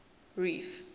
reef